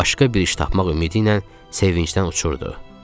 Başqa bir iş tapmaq ümidi ilə sevincdən uçurdu.